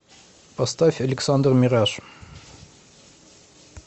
поставь александр мираж